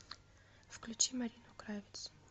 включи марину кравец